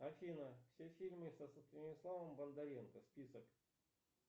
афина все фильмы со станиславом бондаренко список